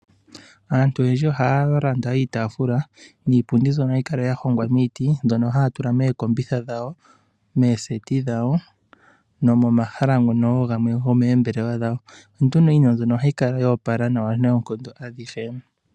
Aantu oyendji ohaya landa iitaafula, niipundi mbyono hayi kala ya hongwa miiti, mbyono haya kala yatula mookombitha dhawo, meeseti dhawo, nomomahala gamwe gomoombelewa dhawo. Iinima mbino ohayi kala yo opala nawa noonkondo.